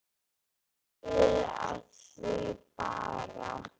Hvað þýðir af því bara?